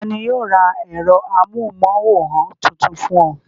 Ta ni yóò ra ẹ̀rọ amóhùmáwòhán tuntun fún ọ?